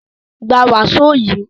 Gba wàsó yìí!